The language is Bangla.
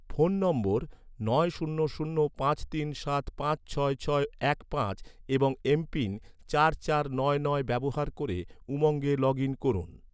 ফোন নম্বর নয় শূন্য শূন্য পাঁচ তিন সাত পাঁচ ছয় ছয় এক পাঁচ চার চার নয় নয় এবং এমপিন চার চার নয় নয় ব্যবহার ক’রে, উমঙ্গে লগ ইন করুন